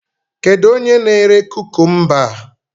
Kedu onye na-ere kukumba a?